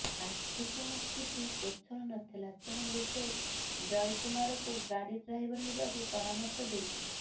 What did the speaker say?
ଆର୍ଥିକ ସ୍ଥିତି ସ୍ୱଚ୍ଛଳ ନଥିଲା ତେଣୁ ଲୋକେ ଜୟକୁମାରକୁ ଗାଡ଼ି ଡ୍ରାଇଭର ହେବାକୁ ପରାମର୍ଶ ଦେଉଥିଲେ